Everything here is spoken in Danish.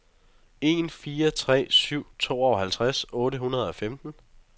en fire tre syv tooghalvtreds otte hundrede og femten